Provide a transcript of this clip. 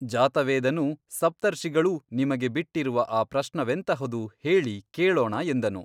ಜಾತವೇದನೂ ಸಪ್ತರ್ಷಿಗಳೂ ನಿಮಗೆ ಬಿಟ್ಟಿರುವ ಆ ಪ್ರಶ್ನವೆಂತಹುದು ಹೇಳಿ ಕೇಳೋಣ ಎಂದನು.